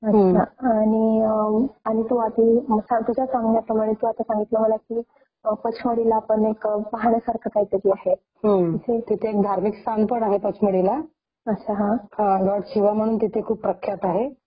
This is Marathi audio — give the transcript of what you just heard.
शिव म्हणून तिथे खूप प्रख्यात आहे .हा त्यांच्यामुळे ते पंचमढी जे आहे ते खूप प्रसिद्ध झालेलं आहे .आणि बाकीचे जे निसर्ग प्रेमी जे आहे ते तर जातातच .पण शिवाला जे मानतात ते पण प्रामुख्याने तिथे असतातच